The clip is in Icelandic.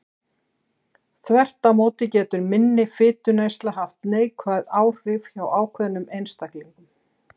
Þvert má móti getur minni fituneysla haft neikvæð áhrif hjá ákveðnum einstaklingum.